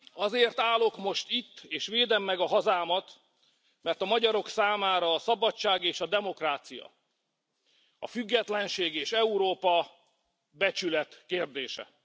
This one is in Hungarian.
Azért állok most itt, és védem meg a hazámat, mert a magyarok számára a szabadság és a demokrácia, a függetlenség és Európa becsület kérdése.